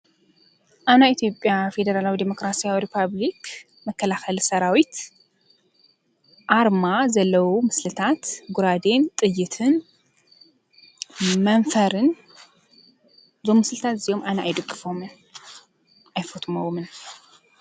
ኣና ኤቲጴያ ፌደራላዊ ዴሞክራስያ ሪጳብልክ መከላኸሊ ሰራዊት ኣርማ ዘለዉ ምስልታት ጕራድን ጥይትን መንፈርን ዞሙስልታት እዚዮም ኣነ ኣይድግፎምን ኣይፈትምውምን።